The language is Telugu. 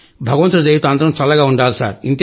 భగవంతుడి దయతో అందరూ చల్లగా ఉండాలి